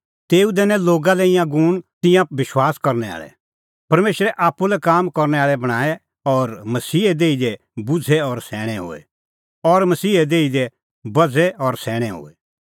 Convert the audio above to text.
तेऊ दैनै लोगा लै ईंयां गूण कि तिंयां विश्वास करनै आल़ै परमेशरा आप्पू लै काम करनै आल़ै बणांए और मसीहे देही दी बझ़े और सैणैं होए